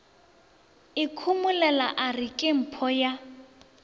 ikhomolela a re kempho ya